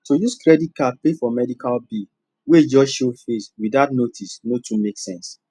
to use credit card pay for medical bill wey just show face without notice no too make sense